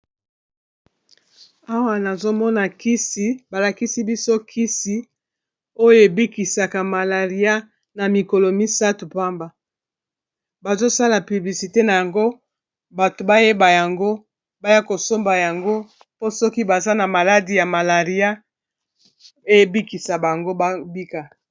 Awa nazomona kisi balakisi biso kisi oyo ebikisaka malaria na mikolo misato, pamba bazosala piblisite na yango bato bayeba yango baya kosomba yango po soki baza na maladi ya malaria ebikisa bango babika,